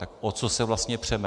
Tak o co se vlastně přeme?